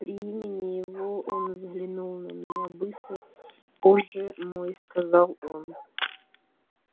при имени его он взглянул на меня быстро позже мой сказал он